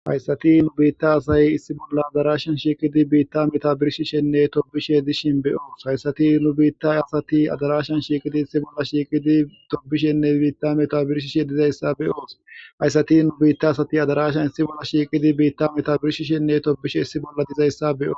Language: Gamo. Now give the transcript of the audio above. Hayssati nu biitta asay issi bolla adarashan shiiqidi biitta metabirishi shenne tobishe dishin beyoos hayssati nu biitta asati adarashan shiiqidi issi bolla shiiqidi tobishenne biitta metabirishishe dizayssa beyoos hayssati nu biitta asati adarashan issi bolla shiiqidi biitta metabirishi shenne tobishe issi bolla dizayssa beos